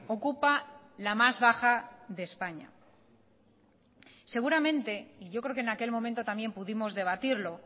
ocupa la más baja de españa seguramente y yo creo que en aquel momento también pudimos debatirlo